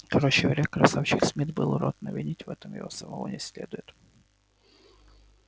короче говоря красавчик смит был урод но винить в этом его самого не следует